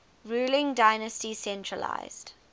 ruling dynasty centralised